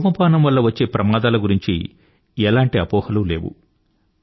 ధూమపానం వల్ల వచ్చే ప్రమాదాల గురించి ఎలాంటి అపోహలు లేవు